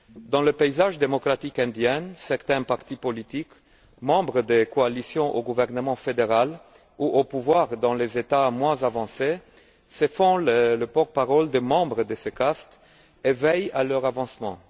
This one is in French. Dans le paysage démocratique indien, certains partis politiques membres des coalitions au gouvernement fédéral ou au pouvoir dans les États moins avancés se font les porte parole des membres de ces castes et veillent à leur avancement.